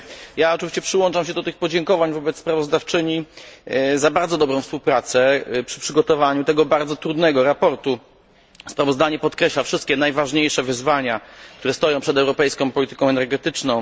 Ja oczywiście przyłączam się do tych podziękowań wobec sprawozdawczyni za bardzo dobrą współpracę przy przygotowaniu tego bardzo trudnego sprawozdania. Sprawozdanie podkreśla wszystkie najważniejsze wyzwania, które stoją przed europejską polityką energetyczną.